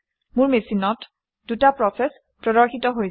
মোৰ মেচিনত দুটা প্ৰচেচ প্ৰদৰ্শিত হৈছে